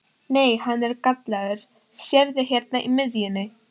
Nei, hann er gallaður, sérðu hérna í miðjunni.